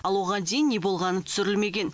ал оған дейін не болғаны түсірілмеген